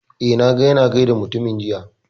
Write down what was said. Eh, na ga ya na gaida mutumin jiya